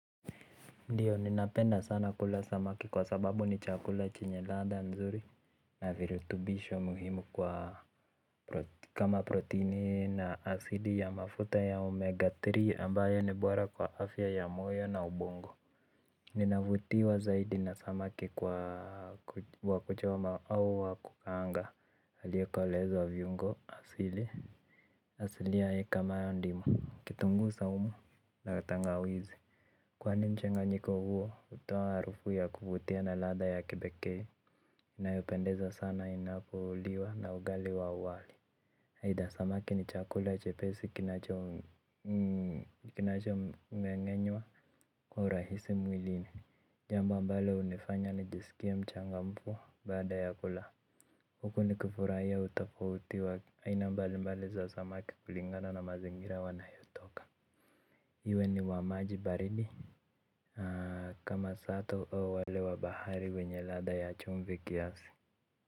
Ndiyo ninapenda sana kula samaki kwa sababu ni chakula chenye ladha mzuri na virutubisho muhimu kwa kama protini na asili ya mafuta ya omega tatu ambayo ni bora kwa afya ya moyo na ubongo ninavutiwa zaidi na samaki kwa wa kuchoma au wakukaanga aliyekolezwa viungo asili asilia heka mara ndimo, kitungu saumu, na tangawizi. Kwani mchanganyiko huo, hutoa harufu ya kuvutia na ladha ya kipeke. Inayopendeza sana inapoliwa na ugali wa wali aidha, samaki ni chakula chepesi kinacho mngenyewa. Kwa urahisi mwilini, jambo ambalo hunifanya nijisikie mchanga mfu, baada ya kula huku nikifurahia utofauti wa aina mbali mbali za samaki kulingana na mazingira wanayotoka. Iwe ni wamaji baridi kama sato au wale wa bahari wenye ladha ya chumvi kiasi.